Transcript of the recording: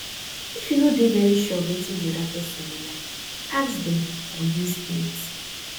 if you no dey very sure of wetin di oda person dey like ask dem or use hint